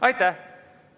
Aitäh!